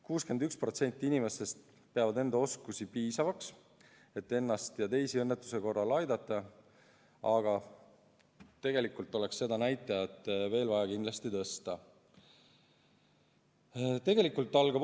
61% inimestest peab enda oskusi piisavaks, et ennast ja teisi õnnetuse korral aidata, aga tegelikult oleks seda näitajat vaja kindlasti veel tõsta.